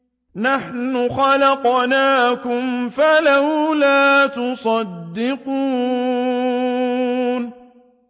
نَحْنُ خَلَقْنَاكُمْ فَلَوْلَا تُصَدِّقُونَ